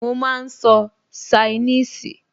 Mo máa n sọ ṣainíìsì